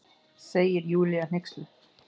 segir Júlía hneyksluð.